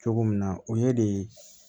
Cogo min na o ye de